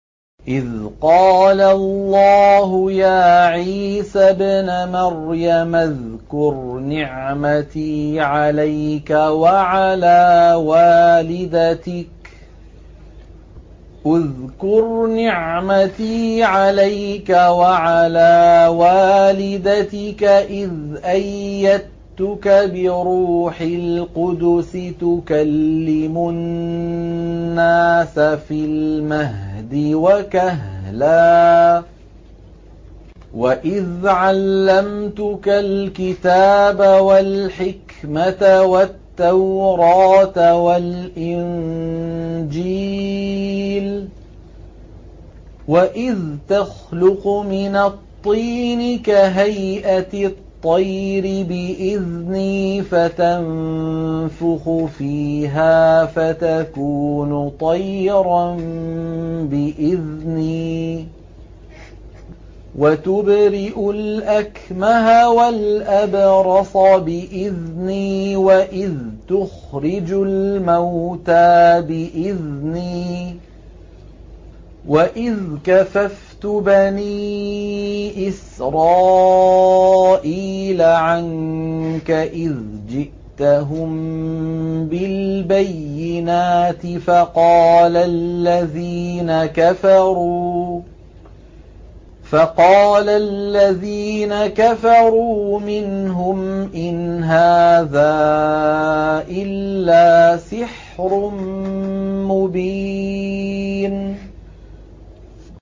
إِذْ قَالَ اللَّهُ يَا عِيسَى ابْنَ مَرْيَمَ اذْكُرْ نِعْمَتِي عَلَيْكَ وَعَلَىٰ وَالِدَتِكَ إِذْ أَيَّدتُّكَ بِرُوحِ الْقُدُسِ تُكَلِّمُ النَّاسَ فِي الْمَهْدِ وَكَهْلًا ۖ وَإِذْ عَلَّمْتُكَ الْكِتَابَ وَالْحِكْمَةَ وَالتَّوْرَاةَ وَالْإِنجِيلَ ۖ وَإِذْ تَخْلُقُ مِنَ الطِّينِ كَهَيْئَةِ الطَّيْرِ بِإِذْنِي فَتَنفُخُ فِيهَا فَتَكُونُ طَيْرًا بِإِذْنِي ۖ وَتُبْرِئُ الْأَكْمَهَ وَالْأَبْرَصَ بِإِذْنِي ۖ وَإِذْ تُخْرِجُ الْمَوْتَىٰ بِإِذْنِي ۖ وَإِذْ كَفَفْتُ بَنِي إِسْرَائِيلَ عَنكَ إِذْ جِئْتَهُم بِالْبَيِّنَاتِ فَقَالَ الَّذِينَ كَفَرُوا مِنْهُمْ إِنْ هَٰذَا إِلَّا سِحْرٌ مُّبِينٌ